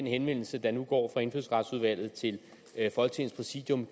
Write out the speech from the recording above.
henvendelse der nu går fra indfødsretsudvalget til folketingets præsidium